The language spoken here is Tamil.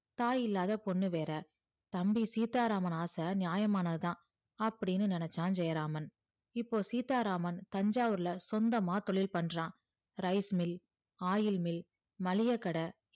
தாய் இல்லாத பொண்ணு வேற தம்பி சீத்தாராமான் ஆசை நியமானது தான் அப்படின்னு நெனச்சா ஜெயராமான் இப்போ சீத்தாராமான் தஞ்சாவூர்ல சொந்தம்மா தொழில் பண்றா ricemill oilmill மளிகை கடை